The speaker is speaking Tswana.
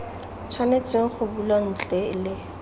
tshwanetseng go bulwa ntle le